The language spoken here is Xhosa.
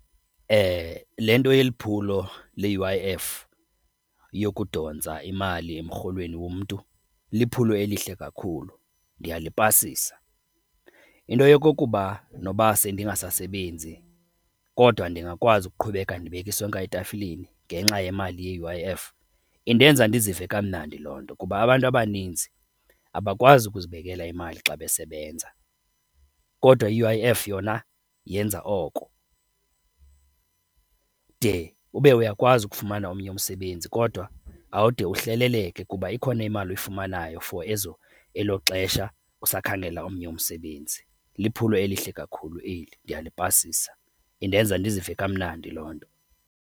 Le nto iyeli phulo le-U_I_F yokudontsa imali emrholweni womntu, liphulo elihle kakhulu, ndiyalipasisa. Into yokokuba noba sendingasasebenzi kodwa ndingakwazi ukuqhubeka ndibeka isonka etafileni ngenxa yemali ye-U_I_F indenza ndizive kamnandi loo nto. Kuba abantu abaninzi abakwazi ukuzibekela imali xa besebenza kodwa i-U_I_F yona yenza oko de ube uyakwazi ukufumana omnye umsebenzi kodwa awude uhleleleke kuba ikhona imali oyifumanayo for ezo elo xesha usakhangela omnye umsebenzi. Liphulo elihle kakhulu eli ndiyalipasisa, indenza ndizive kamnandi loo nto.